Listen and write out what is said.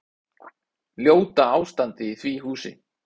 Ljóta ástandið í því húsi.